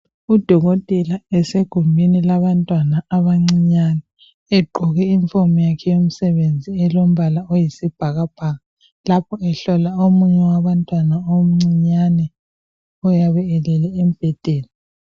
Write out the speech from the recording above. Udokotela esegumeni labantwana abancinyane , egqoke iyunifomu yakhe eyomsembenzi elombala oyisibhakabhaka lapho ehlola omunye wabantwana omncinyane oyabe elele embhedeni.